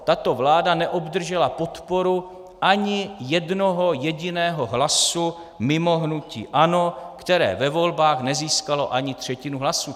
Tato vláda neobdržela podporu ani jednoho jediného hlasu mimo hnutí ANO, které ve volbách nezískalo ani třetinu hlasů.